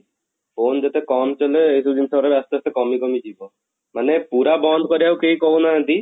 phone ଯେତେ କମ ଚଲେଇବା ଏଇ ଯଉ ଜିନିଷ ଗୁଡା ଆସ୍ତେ ଆସ୍ତେ କମି କମି ଯିବ ମାନେ ପୁରା ବନ୍ଦ କରିବାକୁ କେଇ କହୁ ନାହାନ୍ତି